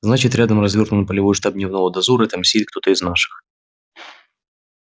значит рядом развёрнут полевой штаб дневного дозора и там сидит кто-то из наших